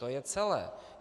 To je celé.